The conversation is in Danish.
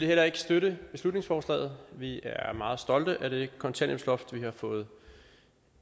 heller ikke støtte beslutningsforslaget vi er meget stolte af det kontanthjælpsloft vi har fået